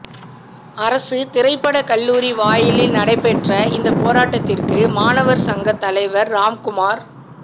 அரசு திரைப்பட கல்லூரி வாயிலில் நடைபெற்ற இந்த போராட்டத்திற்கு மாணவர் சங்க தலைவர் ராம்குமார்